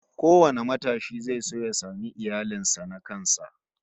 Kowane matashi zai so ya samu iyalin sa na kansa